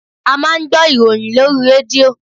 A máa ń gbọ́ ìròyìn lórí rédíò.